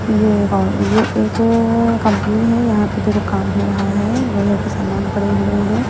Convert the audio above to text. ये ये एक कंपनी है यहां पे देखो काम हो रहा है लोहे के सामान पड़े हुए हैं।